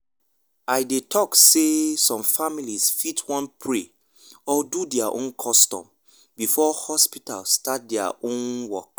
i dey talk sey some families fit wan pray or do their own custom before hospital start their start their own work